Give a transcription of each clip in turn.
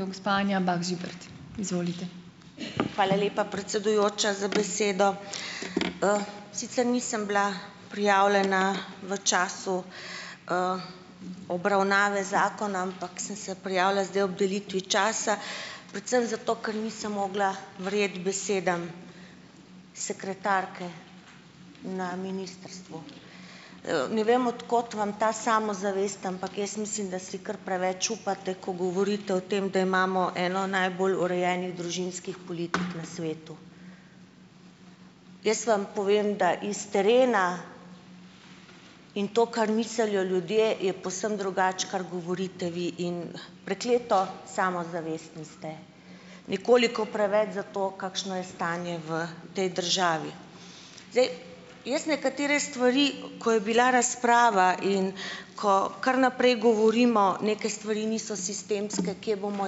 Hvala lepa, predsedujoča, za besedo. Sicer nisem bila prijavljena v času obravnave zakona, ampak sem se prijavila zdaj ob delitvi časa. Predvsem za to, ker nisem mogla verjeti besedam sekretarke na ministrstvu. Ne vem, od kod vam ta samozavest, ampak jaz mislim, da si kar preveč upate, ko govorite o tem, da imamo eno najbolj urejenih družinskih politik na svetu. Jaz vam povem, da iz terena, in to, kar mislijo ljudje, je povsem drugače, kar govorite vi, in prekleto samozavestni ste. Nekoliko preveč za to, kakšno je stanje v tej državi. Zdaj, jaz nekatere stvari, ko je bila razprava in ko kar naprej govorimo, neke stvari niso sistemske, kje bomo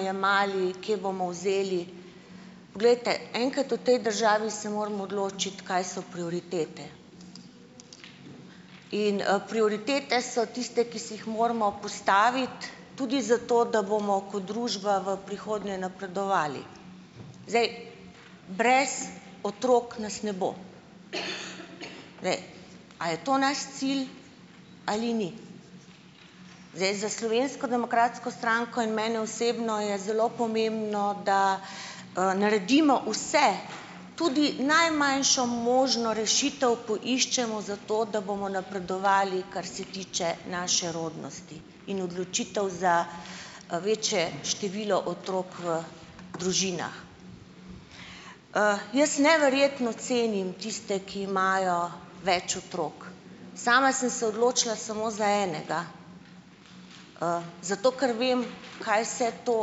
jemali, kje bomo vzeli. Poglejte, enkrat v tej državi se moramo odločiti, kaj so prioritete in, prioritete so tiste, ki si jih moramo postaviti, tudi zato, da bomo ko družba v prihodnje napredovali. Zdaj, brez otrok nas ne bo. A je to naš cilj ali ni? Zdaj, za Slovensko demokratsko stranko in mene osebno je zelo pomembno, da, naredimo vse, tudi najmanjšo možno rešitev poiščemo zato, da bomo napredovali, kar se tiče naše rodnosti, in odločitev za, večje število otrok v družinah. Jaz neverjetno cenim tiste, ki imajo več otrok. Sama sem se odločila samo za enega, zato ker vem, kaj vse to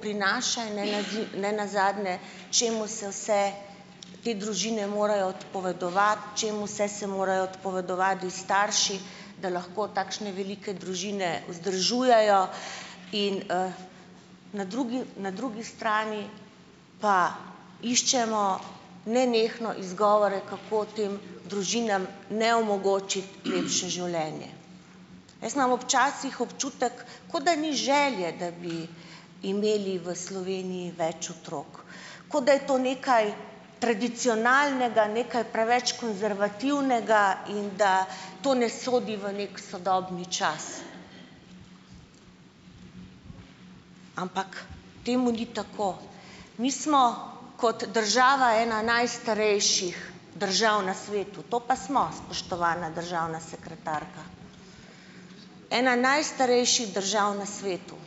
prinaša in ne ne nazadnje, čemu se vse te družine morajo odpovedovati, čemu vse se morajo odpovedovati starši, da lahko takšne velike družine vzdržujejo. In na drugi na drugi strani pa iščemo nenehno izgovore, kako tem družinam, ne, omogočiti lepše življenje. Jaz imam včasih občutek, kot da ni želje, da bi imeli v Sloveniji več otrok, kot da je to nekaj tradicionalnega, nekaj preveč konservativnega in da to ne sodi v neki sodobni čas, ampak temu ni tako. Mi smo kot država ena najstarejših držav na svetu. To pa smo, spoštovana državna sekretarka. Ena najstarejših držav na svetu.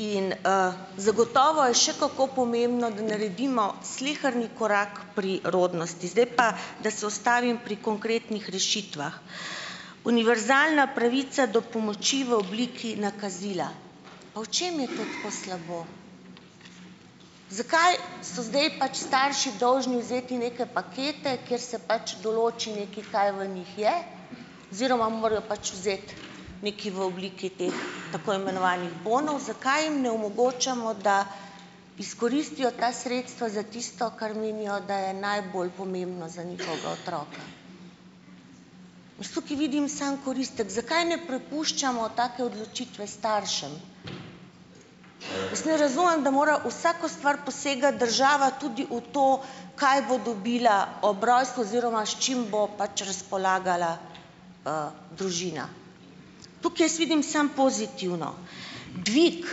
In, zagotovo je še kako pomembno, da naredimo sleherni korak pri rodnosti. Zdaj pa, da se ustavim pri konkretnih rešitvah. Univerzalna pravica do pomoči v obliki nakazila. Pa v čem je to tako slabo? Zakaj so zdaj pač starši dolžni vzeti neke pakete, kjer se pač določi nekaj oziroma morajo pač vzeti nekaj v obliki teh tako imenovanih bonov. Zakaj jim ne omogočamo, da izkoristijo ta sredstva za tisto, kar menijo, da je najbolj pomembno za njihovega otroka. Jaz tukaj vidim samo koristek. Zakaj ne prepuščamo take odločitve staršem? Ne razumem, da mora vsako stvar posegati država, tudi v to, kaj bo dobila ob rojstvu oziroma s čim bo pač razpolagala družina. Tukaj jaz vidim samo pozitivno. Dvig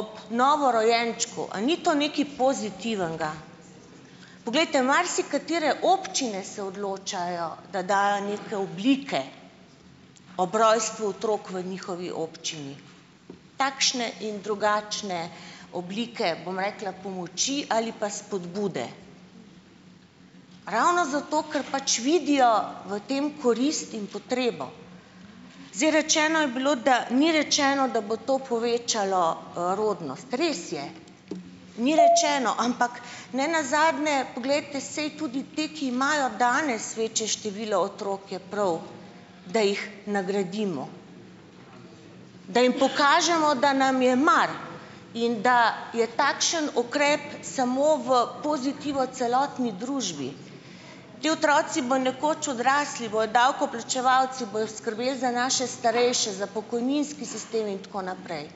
ob novorojenčku, a ni to nekaj pozitivnega. Poglejte, marsikatere občine se odločajo, da dajo neke oblike ob rojstvu otrok v njihovi občini. Takšne in drugačne oblike, bom rekla, pomoči ali pa spodbude, ravno zato, ker pač vidijo v tem korist in potrebo. Zdaj, rečeno je bilo, da ni rečeno, da bo to povečalo, rodnost. Res je, ni rečeno, ampak ne nazadnje poglejte, saj tudi te, ki imajo danes večje število, otrok je prav, da jih nagradimo, da jim pokažemo, da nam je mar, in da je takšen ukrep samo v pozitivo celotni družbi. Ti otroci bojo nekoč odrasli, bojo davkoplačevalci, bojo skrbeli za naše starejše, za pokojninski sistem in tako naprej.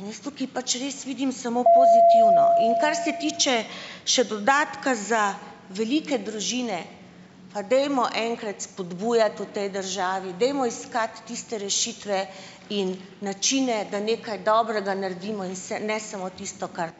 In jaz tukaj pač res vidim samo pozitivno. In kar se tiče še dodatka za velike družine, pa dajmo enkrat spodbujati v tej državi, dajmo iskati tiste rešitve in načine, da nekaj dobrega naredimo in se, ne samo tisto, kar ...